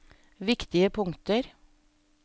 viktige punkter